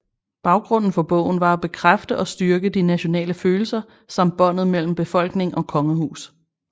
Baggrunden for bogen var at bekræfte og styrke de nationale følelser samt båndet mellem befolkning og kongehus